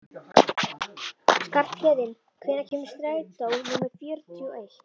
Skarphéðinn, hvenær kemur strætó númer fjörutíu og eitt?